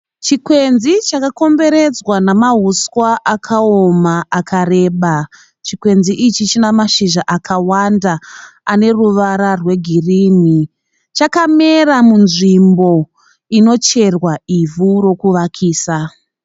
Chikwenzi chakakomberedzwa namahuswa akaoma akareba. Chikwenzi ichi china mashizha akawanda ane ruvara rwegirini. Chakamera munzvimbo inocherwa ivhu rokuvakisa.